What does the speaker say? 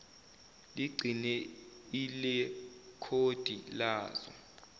ligcine ilekhodi lazo